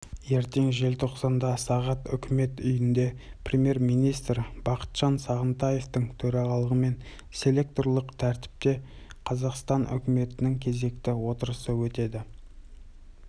ертең желтоқсанда сағат үкімет үйінде премьер-министрі бақытжан сағынтаевтың төрағалығымен селекторлық тәртіпте қазақстан үкіметінің кезекті отырысы өтеді